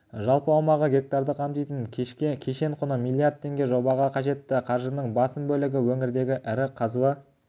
жалпы аумағы гектарды қамтитын кешен құны миллиард теңге жобаға қажетті қаржының басым бөлігі өңірдегі ірі қазба